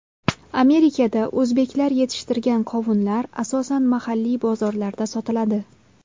Amerikada o‘zbeklar yetishtirgan qovunlar asosan mahalliy bozorlarda sotiladi.